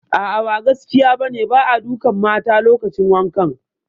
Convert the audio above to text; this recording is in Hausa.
A'a, ba gaskiya ba ne, ba a dukan mata lokacin wankan